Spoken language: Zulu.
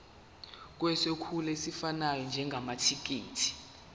sokwethula esifanele njengamathekisthi